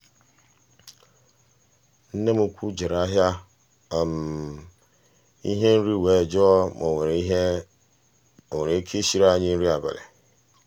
nne m ukwu jere ahịa um ihe nri were jụọ ma o nwere ike ịsiri anyị nri abalị.